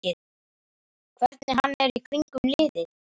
Hvernig hann er í kringum liðið?